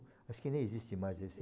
Acho que nem existe mais esse...